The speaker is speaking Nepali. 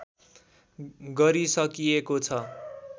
गरिसकिएको छ